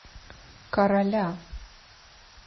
короля